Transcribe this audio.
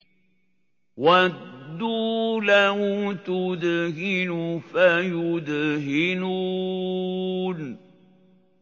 وَدُّوا لَوْ تُدْهِنُ فَيُدْهِنُونَ